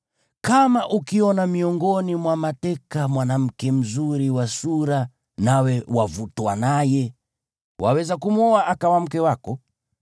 kama ukiona miongoni mwa mateka mwanamke mzuri wa sura nawe wavutwa naye, waweza kumwoa akawa mke wako.